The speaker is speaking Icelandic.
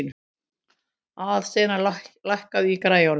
Aðalsteina, lækkaðu í græjunum.